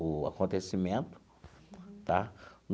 o acontecimento tá.